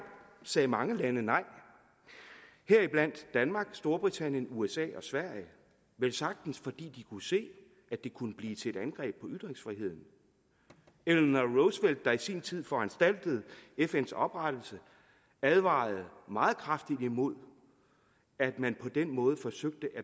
sagde mange lande nej heriblandt danmark storbritannien usa og sverige velsagtens fordi de kunne se at det kunne blive til et angreb på ytringsfriheden eller når roosevelt der i sin tid foranstaltede fns oprettelse advarede meget kraftigt imod at man på den måde forsøgte at